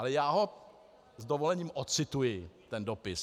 Ale já ho s dovolením odcituji, ten dopis.